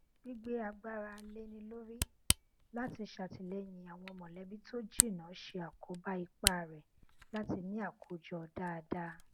gbígbé agbára léni lórí láti ṣàtìlẹyìn àwọn mọlẹbí tó jìnnà ṣe àkóbá ipá rẹ láti ní àkójọ dáadáa